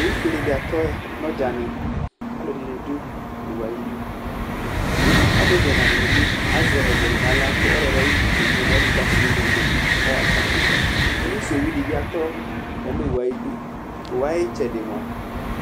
Owufuele dɩ atɔ ya nʋ ɔdzanɩ kʋ alʋɛdɩnɩ dʋ oowu yɛ ayidu Alevi ɛna dɩnɩ bɩ azɛ ɔvlɛ dɩ nʋ aɣla kʋ ɔlɔdɩ ayʋ ʋvʋ kedze nʋ ayili kʋ atanɩ ezekple yɩ kʋ ayaɣa fa Polisi owu dɩ bɩ atɔ ya nʋ owu yɛ ayidu Owu yɛ ayʋ ɩtsɛdɩ mʋa,